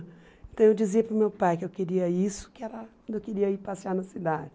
Então eu dizia para o meu pai que eu queria isso, que era eu queria ir passear na cidade.